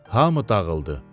Hamı dağıldı.